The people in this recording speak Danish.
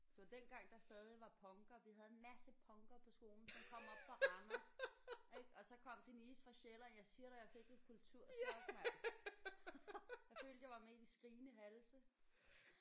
Det var dengang der stadig var punkere. Vi havde en masser punkere på skolen som kom oppe fra Randers ik? Og så kom Denise fra Sjælland. Jeg siger dig jeg fik et kulturchok mand! Jeg følte jeg var med i De skrigende halse